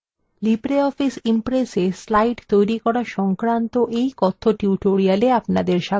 libreoffice impressএ slide তৈরী করা সংক্রান্ত এই কথ্য tutorialএ আপনাদের স্বাগত